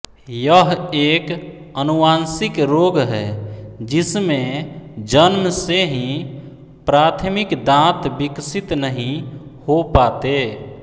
यह एक अनुवांशिक रोग है जिसमे जन्म से ही प्राथमिक दांत विकसित नही हो पाते